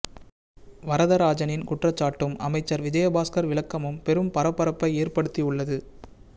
வரதராஜனின் குற்றச்சாட்டும் அமைச்சர் விஜயபாஸ்கர் விளக்கமும் பெரும் பரபரப்பை ஏற்படுத்தி உள்ளது